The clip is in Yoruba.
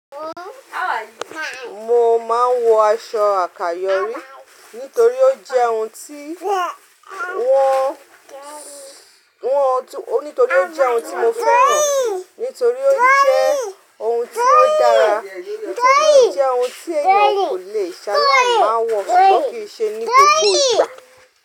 Mo máa ń wọ aṣọ àkayọ̀rí, nítorí o jẹ́ torí ó jẹ́ ohun tí mo fẹ́ran, nítorí ó jẹ́ ohun tí ó dára, torí ó jẹ́ ohun tí èèyàn kò lè ṣaláì máa wọ̀, sùgbọ́n kì í ṣe ni gbogbo ìgbà.